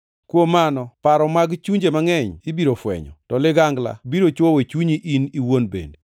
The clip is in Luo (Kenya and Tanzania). Kuom mano paro mag chunje mangʼeny ibiro fwenyo. To ligangla biro chwoyo chunyi in iwuon bende.”